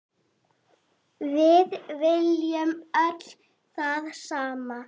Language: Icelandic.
Við viljum öll það sama.